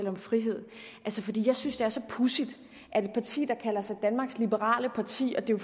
om frihed fordi jeg synes er så pudsigt at et parti der kalder sig danmarks liberale parti og det er